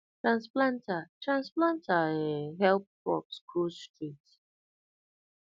transplanter transplanter um help crops grow straight